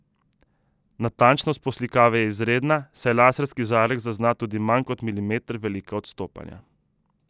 Natančnost poslikave je izredna, saj laserski žarek zazna tudi manj kot milimeter velika odstopanja.